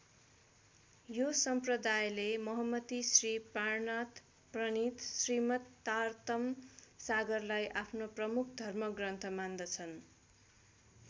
यो सम्प्रदायेले महमति श्री प्राणनाथ प्रनिथ श्रीमततारतम सागरलाई आफ्नो प्रमुख धर्म ग्रन्थ मान्दछन्।